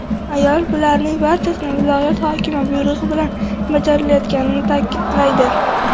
Ayol bularning barchasi viloyat hokimi buyrug‘i bilan bajarilayotganini ta’kidlaydi.